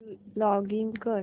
login कर